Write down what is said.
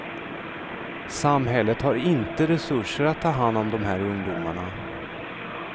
Samhället har inte resurser att ta hand om de här ungdomarna.